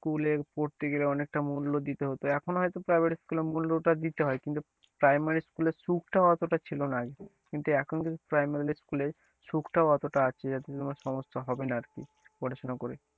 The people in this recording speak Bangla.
School এ পড়তে গেলে অনেকটা মূল্য দিতে হতো এখন হয়তো private school এ মূল্যটা দিতে হয় কিন্তু primary school এ সুখটাও অতটা ছিল না আগে কিন্তু এখন primary school এ সুখটাও অতটা আছে যাতে তোমার সমস্যা হবে না আর কি পড়াশোনা করে।